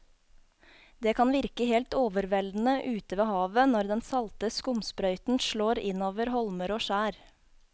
Det kan virke helt overveldende ute ved havet når den salte skumsprøyten slår innover holmer og skjær.